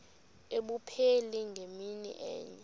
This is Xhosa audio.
abupheli ngemini enye